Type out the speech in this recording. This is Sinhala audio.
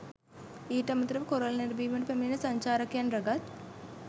ඊට අමතරව කොරල් නැරඹීමට පැමිණෙන සංචාරකයන් රැගත්